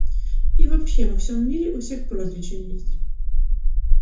и вообще во всём мире у всех прозвища есть